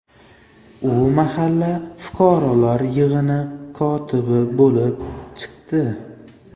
U mahalla fuqarolar yig‘ini kotibi bo‘lib chiqdi.